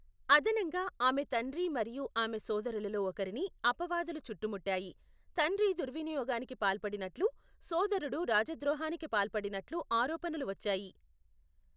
అదనంగా, ఆమె తండ్రి మరియు ఆమె సోదరులలో ఒకరిని అపవాదులు చుట్టుముట్టాయి, తండ్రి దుర్వినియోగానికి పాల్పడినట్లు, సోదరుడు రాజద్రోహానికి పాల్పడినట్లుగా ఆరోపణలు వచ్చాయి.